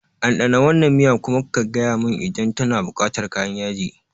Ɗanɗana wannan miya kuma ka gaya mani idan tana buƙatar kayan yaji.